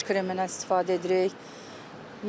Günəş kremindən istifadə edirik.